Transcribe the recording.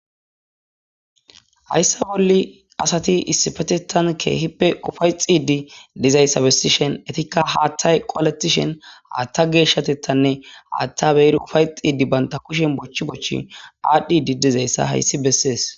hayssa bolli asati issifetettan keehippe ufay xiidi dizayssa bessishen etikka haattay qoaletishen haatta geeshshatettanne aatta beeri ufay xiidi banta kushen bochchi bochchi aadhdhi didizayssa hayssi bessees